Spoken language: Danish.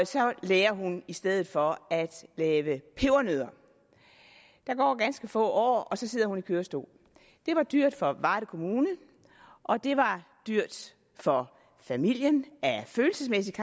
så lærer hun i stedet for at lave pebernødder der går ganske få år og så sidder hun i kørestol det var dyrt for varde kommune og det var dyrt for familien i følelsesmæssigt